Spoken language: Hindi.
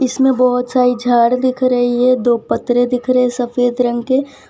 इसमें बहोत सारी झाड़ दिख रही है दो पत्तरे दिख रहे सफेद रंग के --